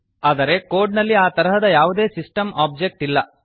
ಆದರೆ ಕೋಡ್ ನಲ್ಲಿ ಆ ತರಹದ ಯಾವುದೇ ಸಿಸ್ಟಮ್ ಓಬ್ಜೆಕ್ಟ್ ಇಲ್ಲ